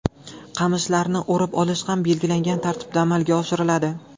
Qamishlarni o‘rib olish ham belgilangan tartibda amalga oshiriladi.